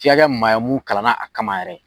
Fi ka kɛ maa ye mun kalan na a kama yɛrɛ.